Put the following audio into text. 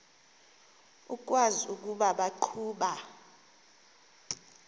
ukwazi ukuba baqhuba